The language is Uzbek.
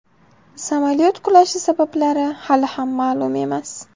Samolyot qulashi sabablari hali ham ma’lum emas.